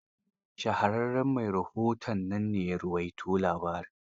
Shahararren mai rahoton nan ne ya rawaito labarin.